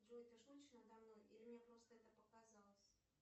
джой ты шутишь надо мной или мне просто это показалось